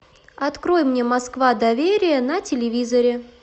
открой мне москва доверие на телевизоре